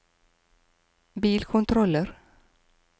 bilkontroller